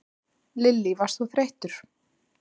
Lillý: Varst þú þreyttur?